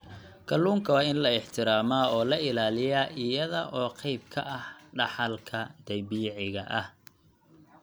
Kalluunka waa in la ixtiraamaa oo la ilaaliyaa iyada oo qayb ka ah dhaxalka dabiiciga ah.